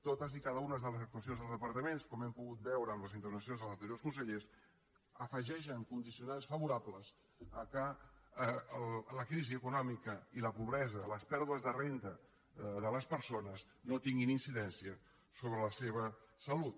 totes i cada una de les actuacions dels departaments com hem pogut veure en les intervencions dels anteriors consellers afegeixen condicionants favorables al fet que la crisi econòmica i la pobresa les pèrdues de renda de les persones no tinguin incidència sobre la seva salut